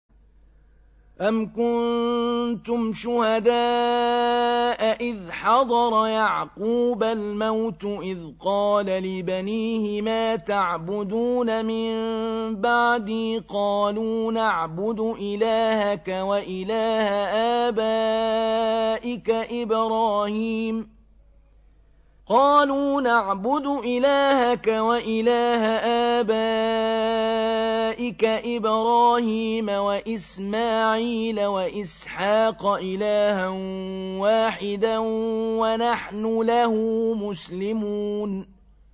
أَمْ كُنتُمْ شُهَدَاءَ إِذْ حَضَرَ يَعْقُوبَ الْمَوْتُ إِذْ قَالَ لِبَنِيهِ مَا تَعْبُدُونَ مِن بَعْدِي قَالُوا نَعْبُدُ إِلَٰهَكَ وَإِلَٰهَ آبَائِكَ إِبْرَاهِيمَ وَإِسْمَاعِيلَ وَإِسْحَاقَ إِلَٰهًا وَاحِدًا وَنَحْنُ لَهُ مُسْلِمُونَ